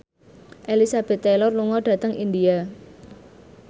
Elizabeth Taylor lunga dhateng India